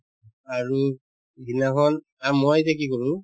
আৰু যিদিনাখন আম্ মই এতিয়া কি কৰো